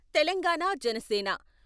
Telangana Janasena